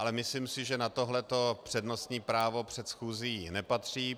Ale myslím si, že na tohle přednostní právo před schůzí nepatří.